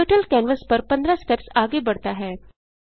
turtle canvas पर 15 steps आगे बढ़ता है